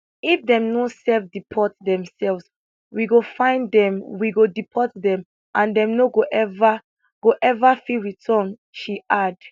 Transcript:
if dem no self deport themselves we go find dem we go deport dem and dem no go ever go ever fit return she add